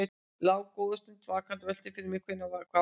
Lá góða stund vakandi og velti fyrir mér hvað væri á seyði.